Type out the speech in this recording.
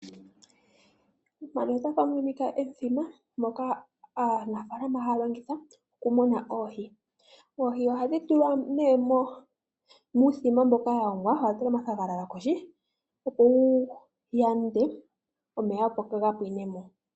Mpano otapu monika omuthima moka aanafalama ha longitha oku muna oohi. Oohi ohadhi tulwa muuthima mboka wa longwa wa tulwa omathagalala kohi opo wu yande omeya opo kaga pwinemo.